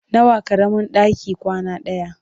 Nawa ƙaramin ɗaki kwana ɗaya?